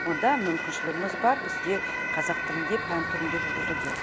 онда мүмкіншілігіміз бар бізде қазақ тілінде пән түрінде жүргізуге